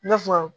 I n'a fɔ